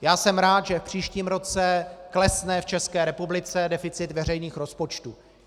Já jsem rád, že v příštím roce klesne v České republice deficit veřejných rozpočtů.